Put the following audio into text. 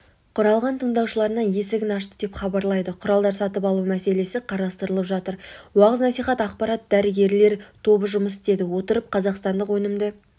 құралған тыңдаушыларына есігін ашты деп хабарлайды құралдар сатып алу мәселесі қарастырылып жатыр уағыз-насихат ақпарат дәрігерлер тобы жұмыс істеді отырып қазақстандық өнімді